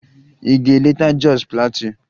Ị ga-eleta Jos Plateau?